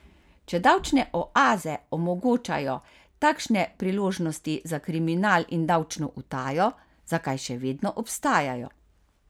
Če davčne oaze omogočajo takšne priložnosti za kriminal in davčno utajo, zakaj še vedno obstajajo?